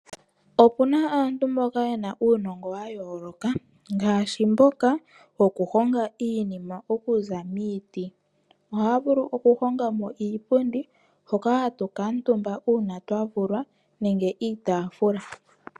Opuna aantu mboka yena uunongo wayooloka, ngaashi mboka wokuhonga iinima okuza miiti. Ohaya vulu okuhongamo iipundi hoka hatu kuutumba uuna twavulwa nenge iitaafula.